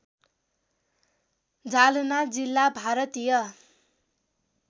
जालना जिल्ला भारतीय